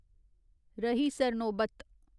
रही सरनोबत